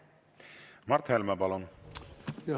Mart Helme, palun!